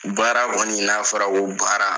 Baara kɔni n'a fɔra k'o baara